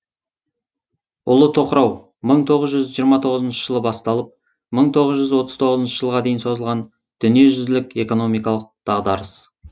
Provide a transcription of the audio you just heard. ұлы тоқырау мың тоғыз жүз жиырма тоғызыншы жылы басталып мың тоғыз жүз отыз тоғызыншы жылға дейін созылған дүниежүзілік экономикалық дағдарыс